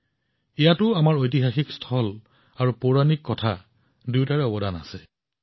ইয়াতো আমাৰ ঐতিহাসিক স্থান আৰু পৌৰাণিক কাহিনী দুয়োটাই যথেষ্ট অৰিহণা যোগায়